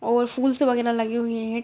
और फूल्स वगैरा लगे हुए है।